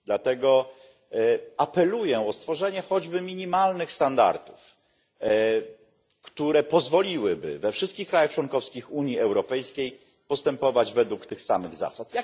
Dlatego apeluję o stworzenie choćby minimalnych standardów, które pozwoliłyby we wszystkich państwach członkowskich Unii Europejskiej postępować według tych samych zasad.